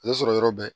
A bɛ sɔrɔ yɔrɔ bɛɛ